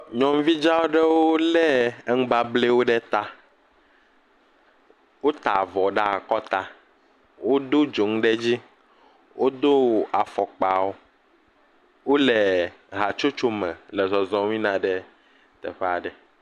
Nyɔnuvi dza aɖewo le nubablewo ɖe ta, wo ta avɔ ɖe akɔta, wodo dzonu ɖe edzi, wodo afɔkpawo wole hatsotso me le zɔzɔm yina ɖe teƒe aɖe.